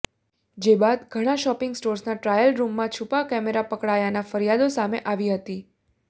જે બાદ ઘણાં શોપિંગ સ્ટોર્સના ટ્રાયલ રૂમમાં છૂપા કેમેરા પકડાયાના ફરિયાદો સામે આવી હતી